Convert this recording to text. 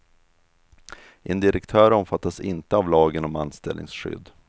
En direktör omfattas inte av lagen om anställningsskydd.